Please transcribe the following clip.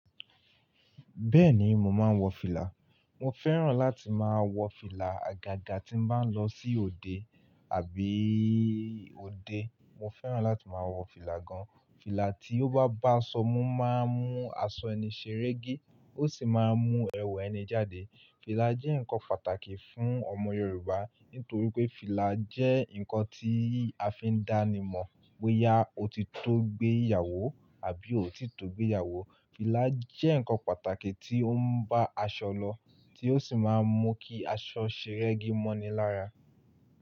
Bẹ́ẹ̀ni, mo máa ń wọ fìlà. Mo fẹ́ràn láti máa wọ fìlà àgàgà tí mo bá ń lọ sí òde àbí òde. Mo fẹ́ràn láti máa wọ fìlà gan. Fìlà tí ó bá bá aṣọ mú, máa ń mú aṣọ ẹni ṣeré gé, ó sì máa ń mú ẹwà ẹni jáde. Fìlà jẹ́ ǹkan pàtàkì fún ọmọ Yorùbá nítorí pé fìlà jẹ́ ǹkan tí a fi ń dá ni mọ̀ pé yá ó ti tó gbé ìyàwó àbí ó ò tí tó gbé ìyàwó. Fìlà jẹ́ ǹkan pàtàkì tí ó ń bá aṣọ lọ, tí ó sì máa ń mú kí aṣọ ṣeré gé mọ́ni lára.